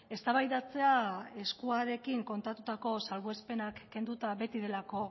eztabaidatzea eskuarekin kontatutako salbuespenak kenduta beti delako